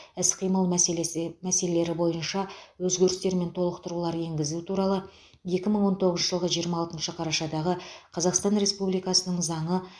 іс қимыл мәселесі мәселелері бойынша өзгерістер мен толықтырулар енгізу туралы екі мың он тоғызыншы жылғы жиырма алтыншы қарашадағы қазақстан республикасының заңы